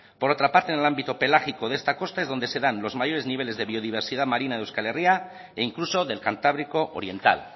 por otra parte en el ámbito pelágico de esta costa es donde se dan los mayores niveles de biodiversidad marina de euskal herria e incluso del cantábrico oriental